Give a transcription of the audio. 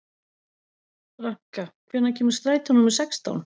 Ranka, hvenær kemur strætó númer sextán?